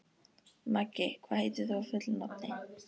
Maggi, hvað heitir þú fullu nafni?